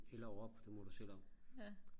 eller op det må du selv om